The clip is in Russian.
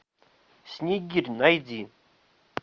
снегирь найди